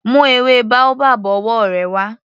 Mú ewé boabab ọwọ́ rẹ wá.